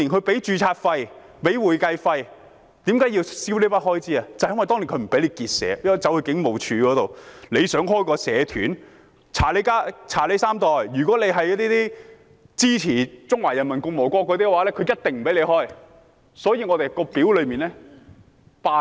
這正是因為政府當年不允許我們結社，要申請的話我們必須到警務處，如果想成立社團，便要查你三代，如果是支持中華人民共和國的話，便一定不會批准。